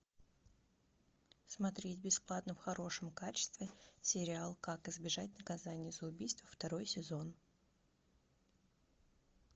смотреть бесплатно в хорошем качестве сериал как избежать наказания за убийство второй сезон